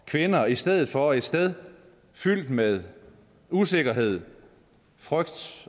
kvinder i stedet for et sted fyldt med usikkerhed frygt